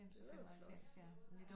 Det var jo flot